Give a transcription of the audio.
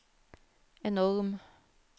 enorm